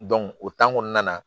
o kɔnɔna na